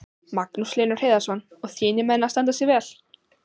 Magnús Hlynur Hreiðarsson: Og þínir menn að standa sig vel?